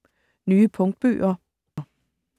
Nye punktbøger